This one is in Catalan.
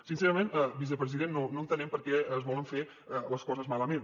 sincerament vicepresident no entenem per què es volen fer les coses malament